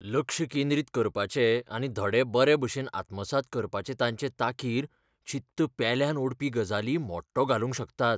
लक्ष केंद्रीत करपाचे आनी धडे बरे भशेन आत्मसात करपाचे तांचे तांकीर चित्त पेल्यान ओडपी गजाली मोडटो घालूंक शकतात.